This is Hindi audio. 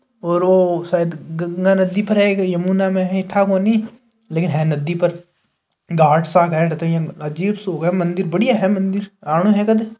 और ओ शायद गंगा नदी पर है के यमुना में है ठा कोनी लेकिन है नदी पर घाट सा बेठते ही अजीब सो है मंदिर बढ़िया है मंदिर आनो है क़द।